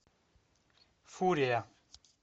фурия